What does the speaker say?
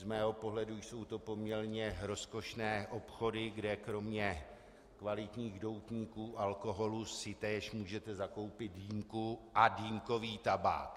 Z mého pohledu jsou to poměrně rozkošné obchody, kde kromě kvalitních doutníků, alkoholu si též můžete zakoupit dýmku a dýmkový tabák.